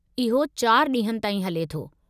इहो चार ॾींहनि ताईं हले थो।